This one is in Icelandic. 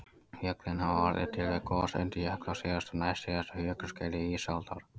Fjöllin hafa orðið til við gos undir jökli á síðasta og næstsíðasta jökulskeiði ísaldar